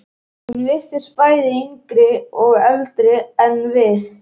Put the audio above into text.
Hún virtist bæði yngri og eldri en við.